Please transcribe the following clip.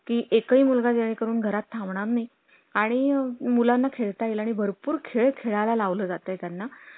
design वाल्यांचं आहे. आम्ही उद्या मारतो चक्कर त्यावेळेस तुमच्यासंग त्याचा contact करून देतो.